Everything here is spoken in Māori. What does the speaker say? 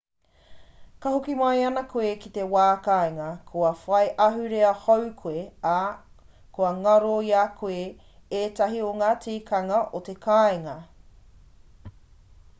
ka hoki mai ana koe ki te wā kāinga kua whai ahurea hou koe ā kua ngaro i a koe ētahi o ngā tikanga o te kāinga